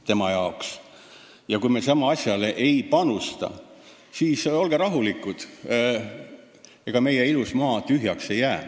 Kui me praegu samale asjale ei panusta, siis olge rahulikud – ega meie ilus maa tühjaks ei jää.